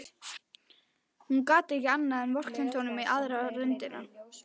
Hún gat ekki annað en vorkennt honum í aðra röndina.